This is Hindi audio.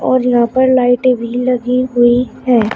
और यहां पर लाइटे भी लगी हुई है।